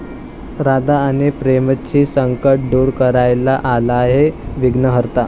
राधा आणि प्रेमची संकटं दूर करायला आलाय विघ्नहर्ता